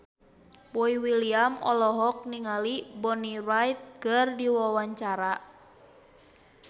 Boy William olohok ningali Bonnie Wright keur diwawancara